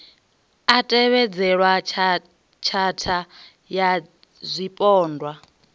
a tevhedzelwa tshatha ya zwipondwa